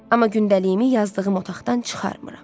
Amma gündəliyimi yazdığım otaqdan çıxarmıram.